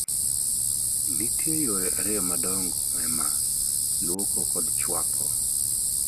Nitie yore ariyo madongo e maa: luoko kod chuoko.